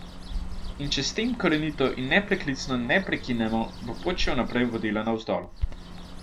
In če s tem korenito in nepreklicno ne prekinemo, bo pot še naprej vodila navzdol.